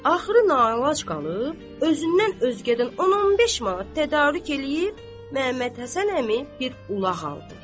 Axırı nalac qalıb, özündən özgədən 10-15 manat tədarük eləyib, Məhəmməd Həsən əmi bir ulaq aldı.